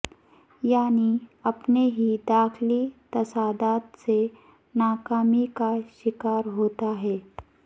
یعنی اپنے ہی داخلی تضادات سے ناکامی کا شکار ہوتا ہے